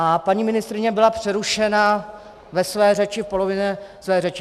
A paní ministryně byla přerušena ve své řeči, v polovině své řeči.